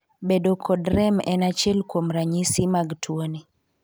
Bedo kod rem en achiel kuom ranyisi mag tuoni.